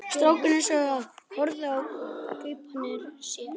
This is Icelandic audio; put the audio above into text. Strákarnir sátu og horfðu í gaupnir sér.